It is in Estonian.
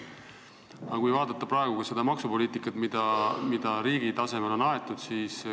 Aga vaatame seda maksupoliitikat, mida riigi tasemel on praegu aetud.